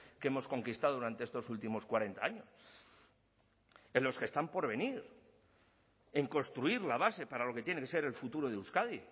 que hemos conquistado durante estos últimos cuarenta años en los que están por venir en construir la base para lo que tiene que ser el futuro de euskadi